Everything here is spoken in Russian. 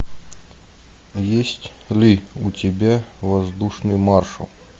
есть ли у тебя воздушный маршал